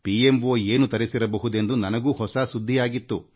ಅವರು ಪ್ರಧಾನಮಂತ್ರಿಯವರ ಕಾರ್ಯಾಲಯಕ್ಕೆ ಏನೇನು ಪೂರೈಕೆ ಮಾಡಿದರು ಎಂದು ಅಚ್ಚರಿ ಆಯಿತು